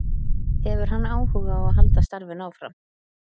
Hefur hann áhuga á að halda starfinu áfram?